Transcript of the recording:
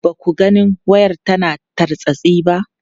Ba ku ganin wayar tana tartsatsi ba?